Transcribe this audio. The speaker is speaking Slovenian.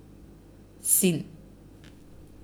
Sin.